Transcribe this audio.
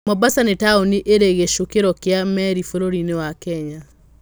Mombasa nĩ taũni ĩrĩ gĩcukĩro kĩa meri bũrũri-inĩ wa Kenya.